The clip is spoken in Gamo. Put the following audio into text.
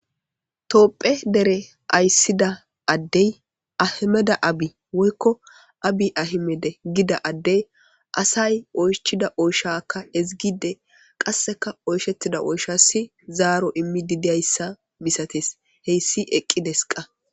Tophphiya deere ayssida addey ahimede abi woykko abi ahimede gida addey asay oychchida oyshshaka ezzgidde qasseka oyshshetida oyshas zaaro immidi diyayssa missates hessi eqqides qa.